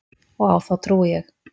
Og á þá trúi ég.